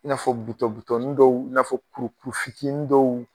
I n'afɔ bitɔn- bitɔntin dɔw i n'afɔ kuru-kurunin dɔw